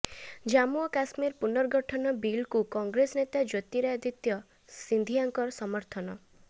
ଜାମ୍ମୁ ଓ କାଶ୍ମୀର ପୁନର୍ଗଠନ ବିଲ୍କୁ କଂଗ୍ରେସ ନେତା ଜ୍ୟୋତିରାଦିତ୍ୟ ସିନ୍ଧିଆଙ୍କ ସମର୍ଥନ